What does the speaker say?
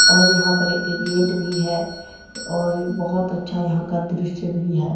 और यहां पर एक गेट भी है और बहोत अच्छा यहां का दृश्य भी है।